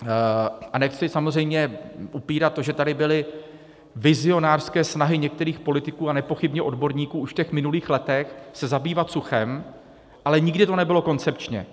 A nechci samozřejmě upírat to, že tady byly vizionářské snahy některých politiků a nepochybně odborníků už v těch minulých letech se zabývat suchem, ale nikdy to nebylo koncepčně.